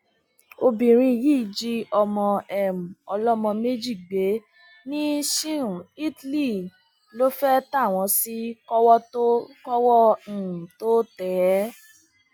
obìnrin yìí jí ọmọ um ọlọmọ méjì gbé ní siun italy lọ fee tá wọn sì kọwọ um tóo tẹ ẹ